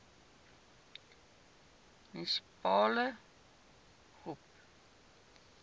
munisipale gop